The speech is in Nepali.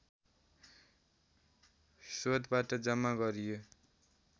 स्रोतबाट जम्मा गरियो